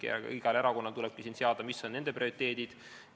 Igal erakonnal tuleb teada, mis on nende prioriteedid.